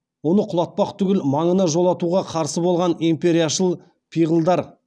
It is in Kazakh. оны құлатпақ түгіл маңына жолатуға қарсы болған империяшыл пиғылдар